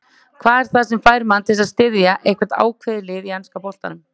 Hvað er það sem fær mann til að styðja eitthvað ákveðið lið í enska boltanum?